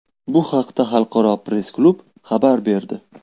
Bu haqda Xalqaro press-klub xabar berdi.